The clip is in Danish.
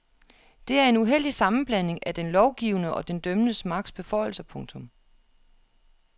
Det er en uheldig sammenblanding af den lovgivende og den dømmende magts beføjelser. punktum